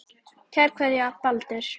Kær kveðja, Baldur